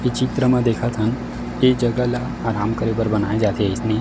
इ चित्र म देखथन ये जगह ल आराम करे बर बनाए जा थे ईसने--